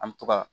An mi to ka